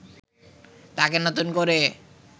তাকে নতুন করে